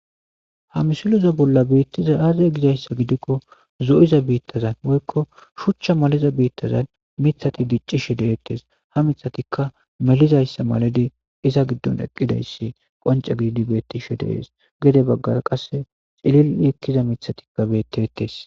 Ha misile bollan betizay azze gikko zo'iza bitazza woyikko shuchcha malathizza bittazza miththathi dic'ishshe de'etes ha miththathikka milizza danidi eqqidayisa danidi qonc'e gididi betididetes gedde bagaraka qassekka eliya miththathikka bettetes.